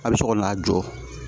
A bɛ sɔrɔ n'a jɔ